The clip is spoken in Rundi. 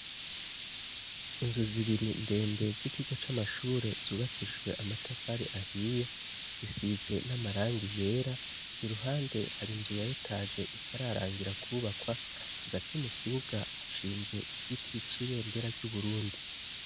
Inzu zibiri ndende z'ikigo c'amashure zubakijwe amatafari ahiye, zisize n'amarangi yera, iruhande hari inzu ya etaje itararangira kwubakwa, hagati mu kibuga hashinze igiti c'ibendera ry'Uburundi.